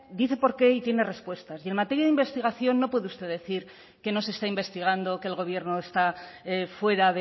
dice por qué y tiene respuestas y en materia de investigación no puede usted decir que no se está investigando que el gobierno está fuera